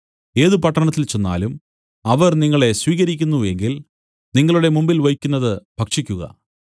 ഏത് പട്ടണത്തിൽ ചെന്നാലും അവർ നിങ്ങളെ സ്വീകരിക്കുന്നു എങ്കിൽ നിങ്ങളുടെ മുമ്പിൽ വെയ്ക്കുന്നത് ഭക്ഷിക്കുക